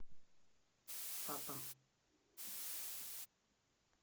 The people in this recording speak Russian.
папа